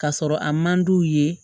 Ka sɔrɔ a man d'u ye